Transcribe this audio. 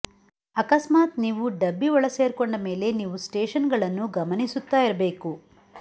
ಅಕಸ್ಮಾತ್ ನೀವು ಡಬ್ಬಿ ಒಳಸೇರ್ಕೊಂಡ ಮೇಲೆ ನೀವು ಸ್ಟೇಶನ್ ಗಳನ್ನು ಗಮನಿಸ್ತಾ ಇರ್ಬೇಕು